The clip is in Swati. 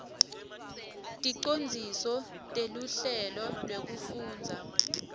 ticondziso teluhlelo lwekufundza